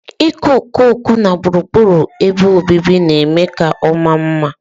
Ịkọ okooko na gburugburu ebe obibi na-eme ka ọ maa mma.